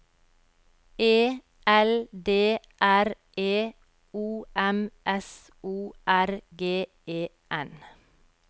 E L D R E O M S O R G E N